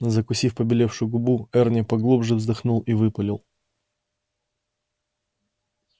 закусив побелевшую губу эрни поглубже вздохнул и выпалил